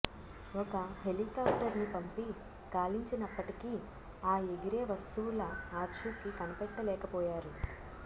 ఒక హెలికాఫ్టర్ ని పంపి గాలించినప్పటికీ ఆ ఎగిరే వస్తువుల ఆచూకి కనిపెట్టలేకపోయారు